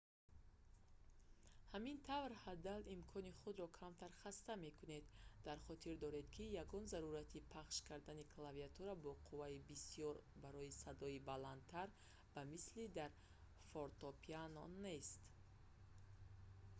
ҳамин тавр ҳаддал имкон худро камтар хаста мекунед дар хотир доред ки ягон зарурати пахш кардани клавиатура бо қувваи бисёр барои садои баландтар ба мисли дар фортопиано нест